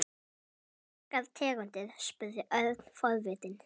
Áttu margar tegundir? spurði Örn forvitinn.